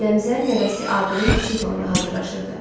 Aləmzər nəvəsi Aqilin kiçik toyuna hazırlaşırdı.